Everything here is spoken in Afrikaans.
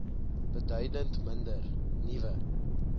beduidend minder nuwe